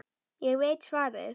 Ég veit svarið.